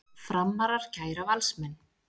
Framarar kæra Valsmenn